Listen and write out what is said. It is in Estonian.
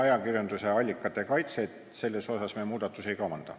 Ajakirjanduse allikate kaitse koha pealt me muudatusi ei kavanda.